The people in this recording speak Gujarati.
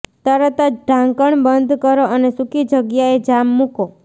તરત જ ઢાંકણ બંધ કરો અને સૂકી જગ્યાએ જામ મૂકો